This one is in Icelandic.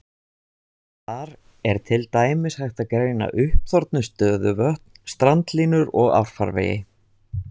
Þar er til dæmis hægt að greina uppþornuð stöðuvötn, strandlínur og árfarvegi.